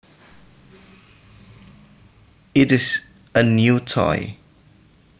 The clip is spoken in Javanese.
It is a new toy